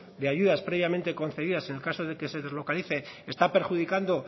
de ayudas previamente concedidas en el caso de que se deslocalice está perjudicando